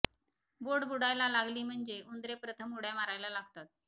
बोट बुडायला लागली म्हणजे उंदरे प्रथम उड्या मारायला लागतात